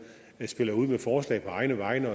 spiller ud med forslag på egne vegne